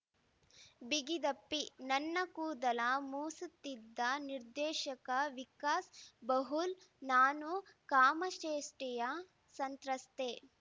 ಬಿಗಿದಪ್ಪಿ ನನ್ನ ಕೂದಲ ಮೂಸುತ್ತಿದ್ದ ನಿರ್ದೇಶಕ ವಿಕಾಸ್‌ ಬಹುಳ್ ನಾನೂ ಕಾಮಚೇಷ್ಟೆಯ ಸಂತ್ರಸ್ತೆ